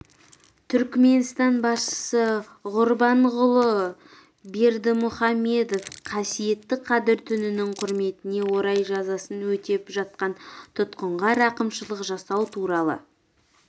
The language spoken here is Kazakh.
түрікменстан басшысы ғұрбанғұлы бердімұхамедов қасиетті қадір түнінің құрметіне орай жазасын өтеп жатқан тұтқынға рақымшылық жасау туралы